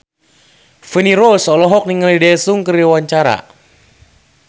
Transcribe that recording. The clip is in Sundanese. Feni Rose olohok ningali Daesung keur diwawancara